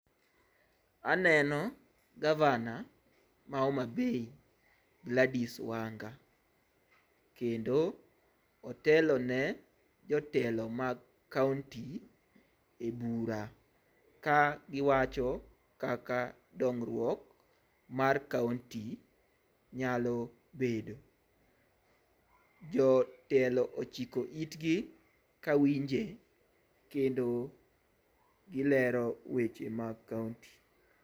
Aneno gavana ma Homabay Gladys Wanga kendo otelone jotelo mag kaunti e bura ka giwacho kaka dongruok mar kaunti nyalo bedo. Jotelo ochiko itgi ka winje kendo gilero weche mag kaunti